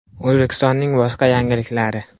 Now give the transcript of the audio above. O‘zbekistonning boshqa yangiliklari.